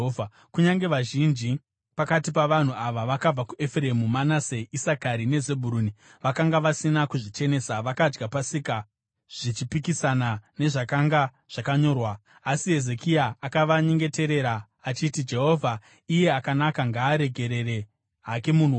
Kunyange vazhinji, pakati pavanhu ava vakabva kuEfuremu, Manase, Isakari neZebhuruni vakanga vasina kuzvichenesa, vakadya Pasika, zvichipikisana nezvakanga zvakanyorwa. Asi Hezekia akavanyengeterera achiti, “Jehovha, iye akanaka, ngaaregerere hake munhu wose